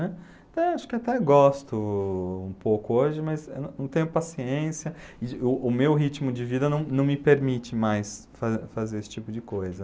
Né? Então acho que até gosto um pouco hoje, mas eu não não tenho paciência de, o meu ritmo de vida não não me permite mais fa fazer esse tipo de coisa.